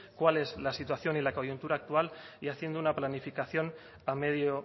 cuál es la situación y la coyuntura actual y haciendo una planificación a medio